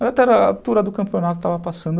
Mas até a altura do campeonato estava passando...